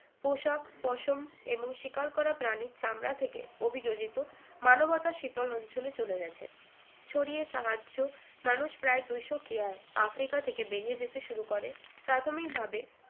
পোশাক পশম এবং শিকার করা প্রাণীর চামড়া থেকে অভিযোজিত মানবতা শীতল অঞ্চলে চলে গেছে ছড়িয়ে সাহায্য মানুষ প্রায় দুশো কেয়ার আফ্রিকা থেকে বেরিয়ে যেতে শুরু করে প্রাথমিকভাবে